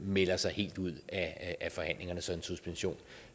melder sig helt ud af forhandlingerne så en suspension